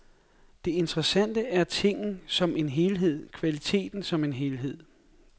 Det interessante er tingen som en helhed, kvaliteten som en helhed.